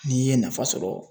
N'i ye nafa sɔrɔ